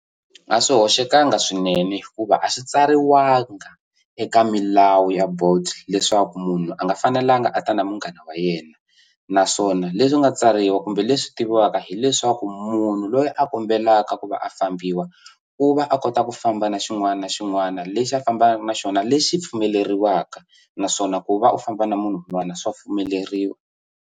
A swi hoxekangi swinene hikuva a swi tsariwanga eka milawu ya Bolt leswaku munhu a nga fanelanga a ta na munghana wa yena naswona leswi nga tsariwa kumbe leswi tiviwaka hi leswi leswaku munhu loyi a kombelaka ku va a fambiwa u va a kota ku famba na xin'wana na xin'wana lexi a fambaka na xona lexi pfumeleriwaka naswona ku va u famba na munhu un'wana swa pfumeleriwa.